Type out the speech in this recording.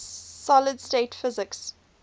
solid state physics